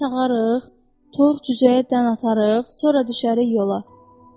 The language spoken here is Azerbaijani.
İnək sağarıq, toyuq cüzəyə dən atarıq, sonra düşərik yola.